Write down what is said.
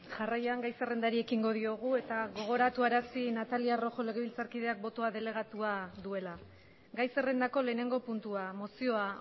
jarraian gai zerrendari ekingo diogu eta gogoratuarazi natalia rojo legebiltzarkideak botoa delegatua duela gai zerrendako lehenengo puntua mozioa